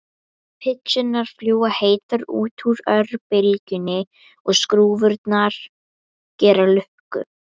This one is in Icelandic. Pizzurnar fljúga heitar út úr örbylgjunni og skrúfurnar gera lukku.